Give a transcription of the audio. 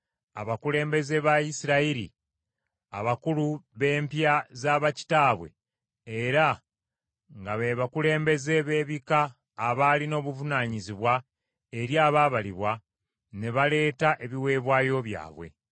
Abakulembeze ba Isirayiri, abakulu b’empya za bakitaabwe era nga be bakulembeze b’ebika abaalina obuvunaanyizibwa eri abaabalibwa, ne baleeta ebiweebwayo byabwe.